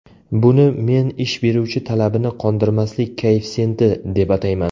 Buni men ish beruvchi talabini qondirmaslik koeffitsiyenti, deb atayman.